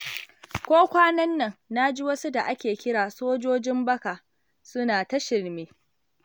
Ko kwanan nan, na ji wasu da ake kira sojojin baka suna ta shirme.